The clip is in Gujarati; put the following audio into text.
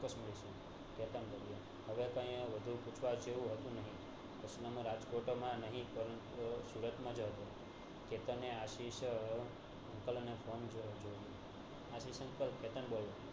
હવે તોહ અહીંયા વધુ રાજકોટ માં નહિ પરંતુ સુરત માંજ હતો કેતન એ આશિષ uncle ને phone કર્યો આશિષ uncle કેતન બોલું